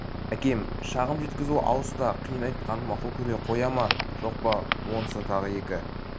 әкеге шағым жеткізу алыс та қиын айтқанын мақұл көре қоя ма жоқ па онысы тағы екі